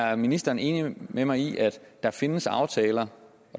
er ministeren enig med mig i at der findes aftaler